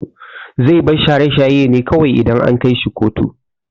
Zai bar shaye shaye ne kawai idan an kaishi kotu.